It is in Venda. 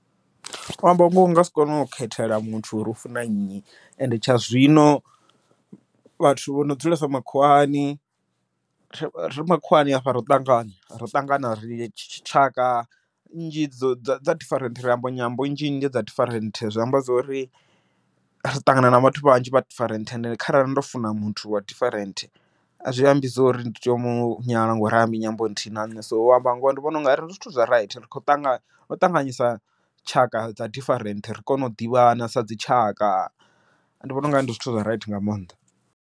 U amba ngoho u nga si kone u khethela muthu uri u funa nnyi, ende tsha zwino vhathu vho no dzulesa makhuwani, ri makhuwani hafha ro ṱangana ro ṱangana ri tshaka nnzhi dzo dza dza different ri amba nyambo nnzhi nnzhi dza different zwi amba zwori, ri ṱangana na vhathu vhanzhi vha different ende kharali ndo funa muthu wa different. A zwi ambi zwori ndi tea u munyala ngori ha ambi nyambo nthihi na nṋe, so u amba ngoho ndi vhona u nga ri ndi zwithu zwa raithi, rikho ṱangana ri khou ṱanganyisa tshaka dza different ri kone u ḓivhana sa dzi tshaka ndi vhona ungari ndi zwithu zwa raithi nga maanḓa.